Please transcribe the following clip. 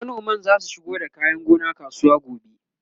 manoman zasu shigo da kayan gona kasuwa gobe